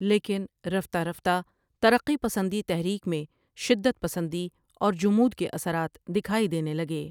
لیکن رفتہ رفتہ ترقی پسندی تحریک میں شدت پسندی اور جمود کے اثرات دکھائی دینے لگے۔